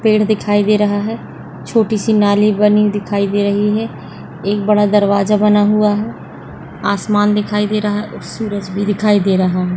पेड़ दिखाई दे रहा है छोटी से नाली बनी दिखाई दे रही है एक बड़ा दरवाजा बना हुआ है आसमान दिखाई दे रहा है और सूरज भी दिखायी दे रहा है।